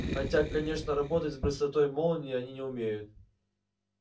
хотя конечно работать с быстротой молнии они не умеют